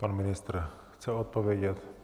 Pan ministr chce odpovědět.